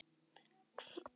Hvar var Tóti?